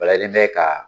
Balalen tɛ ka